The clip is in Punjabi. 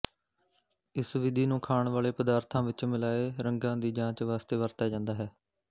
ਇਸ ਵਿਧੀ ਨੂੰ ਖਾਣ ਵਾਲੇ ਪਦਾਰਥਾਂ ਵਿੱਚ ਮਿਲਾਏ ਰੰਗਾਂ ਦੀ ਜਾਂਚ ਵਾਸਤੇ ਵਰਤਿਆ ਜਾਂਦਾ ਹੈ